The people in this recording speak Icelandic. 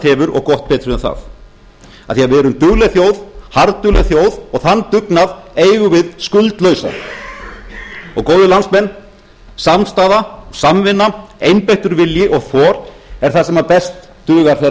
hefur og gott betur en það af því að við erum dugleg þjóð harðdugleg þjóð og þann dugnað eigum við skuldlausan góðir landsmenn samstaða samvinna einbeittur vilji og þor er það sem best dugar þegar á